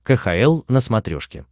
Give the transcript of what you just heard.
кхл на смотрешке